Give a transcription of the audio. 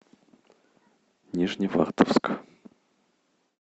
нижневартовск